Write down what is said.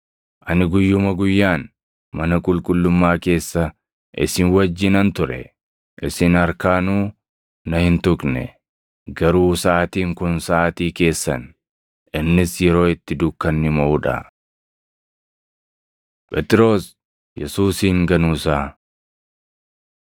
Ani guyyuma guyyaan mana qulqullummaa keessa isin wajjinan ture; isin harkaanuu na hin tuqne. Garuu saʼaatiin kun saʼaatii keessan; innis yeroo itti dukkanni moʼuu dha.” Phexros Yesuusin Ganuu Isaa 22:55‑62 kwf – Mat 26:69‑75; Mar 14:66‑72; Yoh 18:16‑18,25‑27